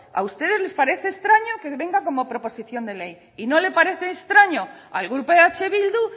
a ustedes les parece extraño que venga como proposición de ley y no le parece extraño al grupo eh bildu